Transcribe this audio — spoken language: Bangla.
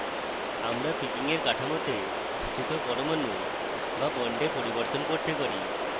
আমরা picking we কাঠামোতে স্থিত পরমাণু বা bonds পরিবর্তন করতে পারি